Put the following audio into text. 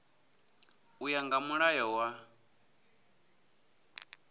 u ya nga mulayo wa